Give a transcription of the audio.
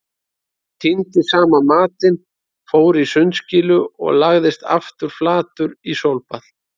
Hann tíndi saman matinn, fór í sundskýlu og lagðist aftur flatur í sólbað.